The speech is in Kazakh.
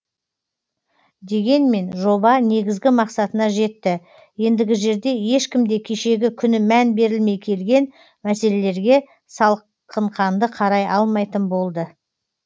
дегенмен жоба негізгі мақсатына жетті ендігі жерде ешкім де кешегі күні мән берілмей келген мәселерге салқын қанды қарай алмайтын болды